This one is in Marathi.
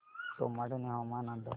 सोमाटणे हवामान अंदाज